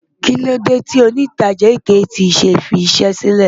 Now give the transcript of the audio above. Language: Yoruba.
Kílódé tí òǹtajà AKT ṣe fiṣẹ́ sílẹ̀?